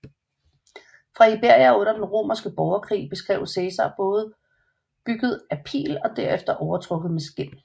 Fra Iberia under den romerske borgerkrig beskrev Cæsar både bygget af pil og derefter overtrukket med skind